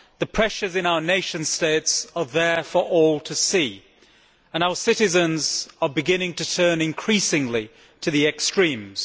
The pressures in our nation states are there for all to see, and our citizens are beginning to turn, increasingly, to the extremes.